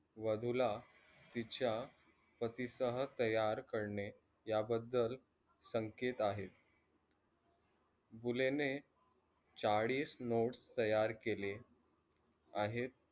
वादुच्या तिच्या पती सोबत तयार करणे, या बद्दल संकेत आहेत. बुले ने चाळीस not तयार केले आहेत.